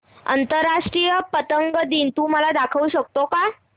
आंतरराष्ट्रीय पतंग दिन तू मला दाखवू शकतो का